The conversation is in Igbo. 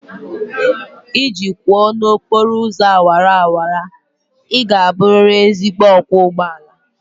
Iji kwọọ n'okporo ụzọ awara awara, ị ga-abụrịrị ezigbo ọkwọ ụgbọ ala